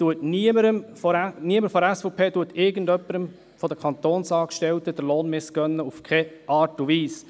Niemand von der SVP missgönnt irgendjemanden von den Kantonsangestellten den Lohn, in keiner Art und Weise.